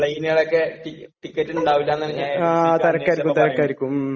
പ്ലെയ്നുകളൊക്കെ...ടിക്കറ്റ് ഉണ്ടാവില്ല എന്നാണ് ഞാൻ ഏജൻസിലൊക്കെ അന്വേഷിച്ചപ്പോ പറയണത്.